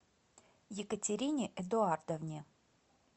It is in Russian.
екатерине эдуардовне